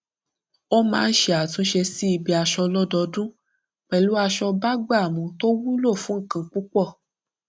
ó máa ń ṣe àtúnṣe sí ibi aṣọ lọdọọdún pẹlú aṣọ bágbàmú tó wúlò fún nǹkan púpọ